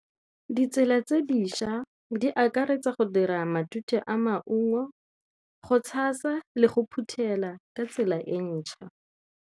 Ditsela tse dišwa di akaretsa go dira matute a maungo, go tshasa le go phuthela ka tsela e ntšha.